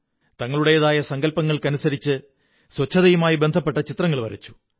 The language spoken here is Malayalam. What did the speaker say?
തങ്ങളുടേതായ സങ്കല്പങ്ങള്ക്കമനുസരിച്ച് ശുചിത്വവുമായി ബന്ധപ്പെട്ട ചിത്രങ്ങൾ വരച്ചു